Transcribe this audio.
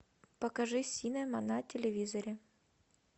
покажи синема на телевизоре